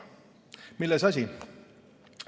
Milles asi?